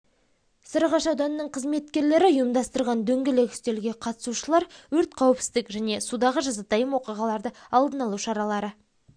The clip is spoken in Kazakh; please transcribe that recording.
сарыағаш ауданының қызметкерлері ұйымдастырған дөңгелек үстелге қатысушылар өрт қауіпсіздік және судағы жазатайым оқиғаларды алдын алу шаралары